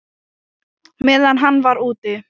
Meðan hann var úti?